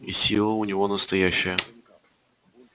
и сила у него настоящая